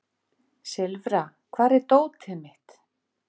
Silfra, hvar er dótið mitt?